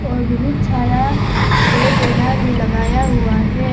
और बहुत सारा पेड़ पौधा भी लगाया हुआ है।